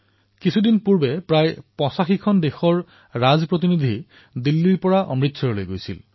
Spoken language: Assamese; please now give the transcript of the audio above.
কিছুদিন পূৰ্বে প্ৰায় ৮৫খন দেশৰ ৰাজদূতে দিল্লীৰ পৰা অমৃতসৰলৈ গৈছিল